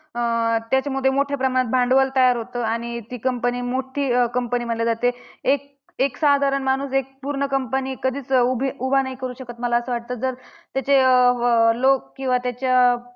अं त्याच्यामध्ये मोठ्या प्रमाणात भांडवल तयार होतं. आणि ती company मोठी अं company मानली जाते. एक साधारण माणूस एक पूर्ण company कधीच उभी उभा नाही करू शकत मला असं वाटतं. जर त्याचे अं लोक किंवा त्याचे